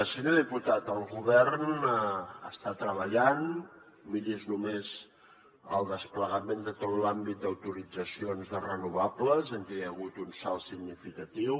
senyor diputat el govern està treballant miri’s només el desplegament de tot l’àmbit d’autoritzacions de renovables en què hi ha hagut un salt significatiu